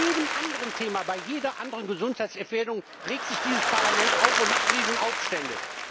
Bei jedem anderen Thema, bei jeder anderen Gesundheitsgefährdung, regt sich dieses Parlament auf und macht Riesenaufstände.